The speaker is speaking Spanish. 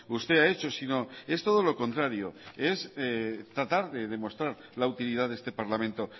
usted ha hecho sino es todo lo contrario es tratar de demostrar la utilidad de este parlamento